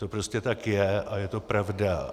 To prostě tak je a je to pravda.